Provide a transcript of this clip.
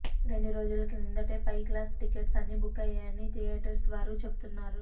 రెండు రోజుల క్రిందటే పై క్లాస్ టిక్కెట్స్ అన్నీ బుక్ అయ్యాయని ధియోటర్స్ వారు చెప్తున్నారు